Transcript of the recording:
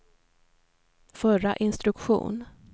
förra instruktion